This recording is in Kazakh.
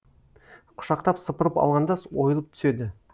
құшақтап сыпырып алғанда ойылып түседі